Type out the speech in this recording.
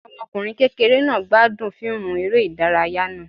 Ọmọkunrin kékeré náá gbadún fiimú eré idàráyá naa